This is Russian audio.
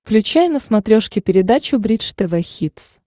включай на смотрешке передачу бридж тв хитс